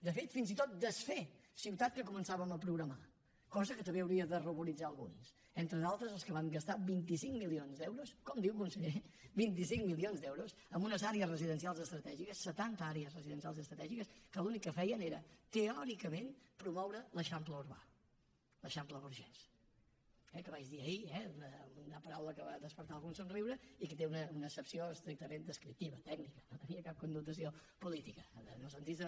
de fet fins i tot desfer ciutat que començàvem a programar cosa que també hauria de ruboritzar alguns entre d’altres els que van gastar vint cinc milions d’euros com diu conseller vint cinc milions d’euros en unes àrees residencials estratègiques setanta àrees residencials estratègiques que l’únic que feien era teòricament promoure l’eixample urbà l’eixample burgès eh que vaig dir ahir una paraula que va despertar algun somriure i que té una accepció estrictament descriptiva tècnica no tenia cap connotació política en el sentit de